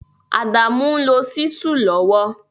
Adamu n lo Ṣísù lowo